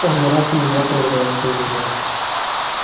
он не раз и не два проверяется на земле